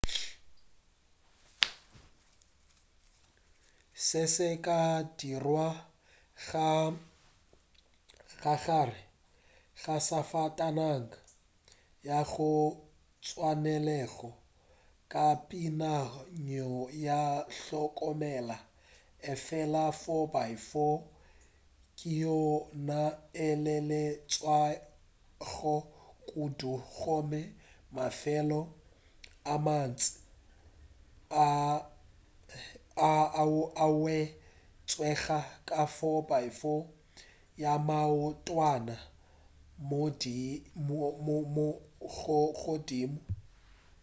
se se ka dirwa ka gare ga safatanaga ya go tlwaelega ka peakanyo ya hlokomela efela 4x4 ke yona e eleletšwago kudu gomme mafelo a mantši a hwetšega ka 4x4 ya maotwana a godimo